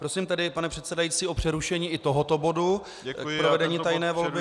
Prosím tedy, pane předsedající, o přerušení i tohoto bodu k provedení tajné volby.